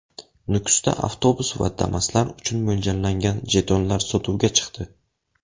Nukusda avtobus va Damas’lar uchun mo‘ljallangan jetonlar sotuvga chiqdi.